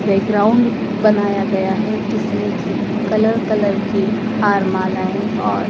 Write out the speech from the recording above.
play ground बनाया गया है जिसमें की कलर कलर की हार मालाएँ और --